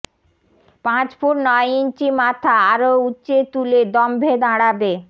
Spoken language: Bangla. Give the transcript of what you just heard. পাঁচ ফুট নয় ইঞ্চি মাথা আরো উচ্চে তুলে দম্ভে দাঁড়াবে